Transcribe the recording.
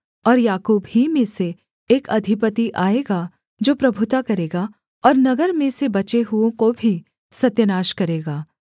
और याकूब ही में से एक अधिपति आएगा जो प्रभुता करेगा और नगर में से बचे हुओं को भी सत्यानाश करेगा